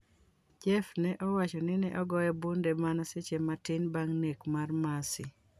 Jeff ne owacho ni neogoye bunde mana seche matin bang' nek mar Mercy.